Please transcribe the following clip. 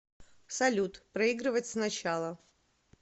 салют проигрывать сначала